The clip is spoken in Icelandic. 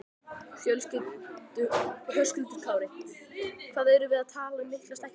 Höskuldur Kári: Hvað erum við að tala um mikla stækkun?